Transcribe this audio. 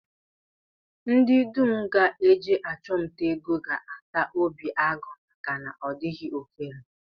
Ndị dum ga-eje achụmnta ego ga-ata obi agụ maka na ọ dịghị ofere